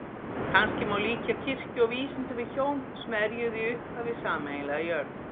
Kannski má líkja kirkju og vísindum við hjón sem erjuðu í upphafi sameiginlega jörð.